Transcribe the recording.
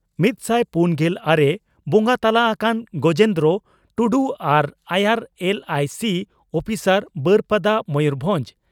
ᱢᱤᱛ ᱥᱟᱭ ᱯᱩᱱᱜᱮᱞ ᱟᱨᱮ ᱵᱚᱸᱜᱟ ᱛᱟᱞᱟ ᱟᱠᱟᱱ ᱜᱚᱡᱮᱱᱫᱨᱚ ᱴᱩᱰᱩ, ᱟᱨ ᱟᱭᱟᱨ ᱮᱞᱹᱟᱤᱹᱥᱤ ᱩᱯᱤᱥᱟᱨ, ᱵᱟᱹᱨᱯᱟᱫᱟ, ᱢᱚᱭᱩᱨᱵᱷᱚᱸᱡᱽ ᱾